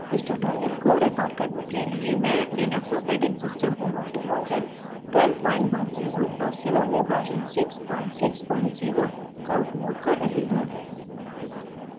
इस tutorial को record करने के लिए मैं Linux operating system Ubuntu version 1210 और salome वर्जन 660 का उपयोग कर रही हूँ